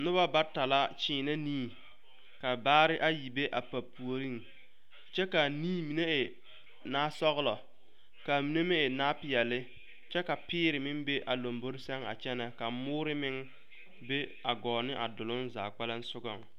Noba bata la kyeenɛ nii ka baare ayi be ba puoriŋ kyɛ ka a nii mine e naasɔglɔ ka a mine meŋ e naapeɛlle kyɛ ka peere be a lombore sɛŋ a kyɛnɛ ka moore meŋ be a gɔɔ ne a doloŋ zaa kpɛlɛŋ sogaŋ.